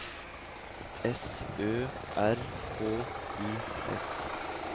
S Ø R H U S